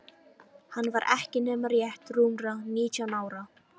Hann var ekki nema rétt rúmra nítján ára.